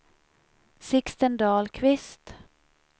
Sixten Dahlqvist